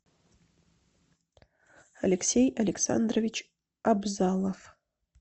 алексей александрович абзалов